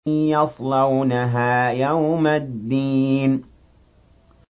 يَصْلَوْنَهَا يَوْمَ الدِّينِ